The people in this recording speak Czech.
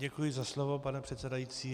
Děkuji za slovo, pane předsedající.